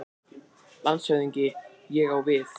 LANDSHÖFÐINGI: Ég á við.